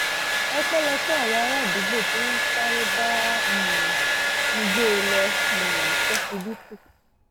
ọpẹ́lọpẹ́ àwọn aràádúgbò tí wọ́n sáré bá um mi gbé e lọ um ṣọsibítù